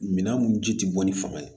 Minan mun ji tɛ bɔ ni fanga ye